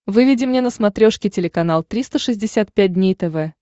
выведи мне на смотрешке телеканал триста шестьдесят пять дней тв